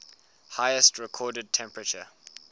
highest recorded temperature